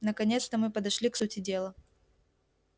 наконец-то мы подошли к сути дела